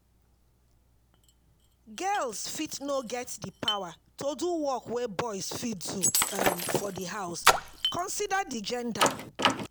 Girls fit no get di power to do work wey boys fit do um for di house, consider di gender